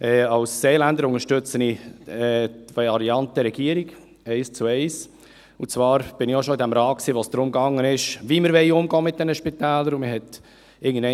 Als Seeländer unterstütze ich die Variante Regierung, eins zu eins, und zwar war ich auch schon in diesem Rat, als es darum ging, wie wir mit diesen Spitälern umgehen wollen.